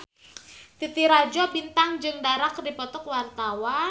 Titi Rajo Bintang jeung Dara keur dipoto ku wartawan